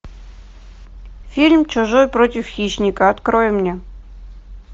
фильм чужой против хищника открой мне